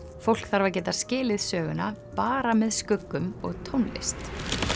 fólk þarf að geta skilið söguna bara með skuggum og tónlist